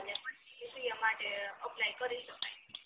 અને પછી સીએ માટે અપ્લાય કરી શકાય